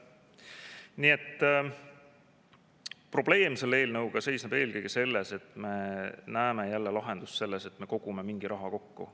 Nii et probleem selle eelnõuga seisneb eelkõige selles, et me näeme jälle lahendust selles, et me kogume mingi raha kokku.